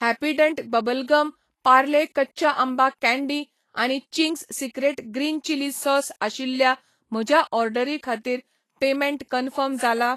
Happydent bubble gum, Parle कच्चा आंबा candy आनी Ching's secret green chilli sauce आशिल्ल्या म्हज्या ऑर्डरी खातीर पेमेंट कन्फर्म जाला ?